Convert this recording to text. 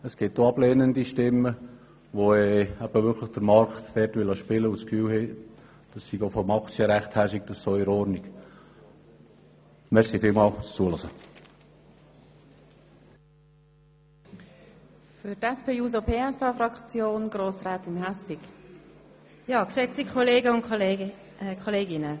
Es gibt auch ablehnende Stimmen, die den Markt spielen lassen wollen und die der Auffassung sind, dass dies aus Sicht des Aktienrechts so richtig sei.